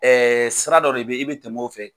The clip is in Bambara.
sira dɔ de bɛ ye i bɛ tɛmɛ o fɛ.